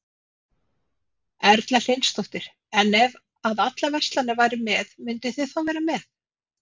Erla Hlynsdóttir: En ef að allar verslanir væru með, mynduð þið þá vera með?